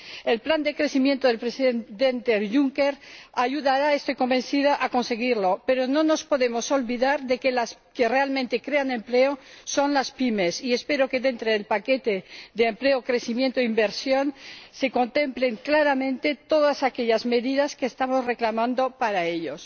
El plan de crecimiento del Presidente Juncker ayudará, estoy convencida, a conseguirlo, pero no nos podemos olvidar de que las que realmente crean empleo son las pymes, y espero que dentro del Paquete de Empleo, Crecimiento e Inversión se contemplen claramente todas aquellas medidas que estamos reclamando para ellos.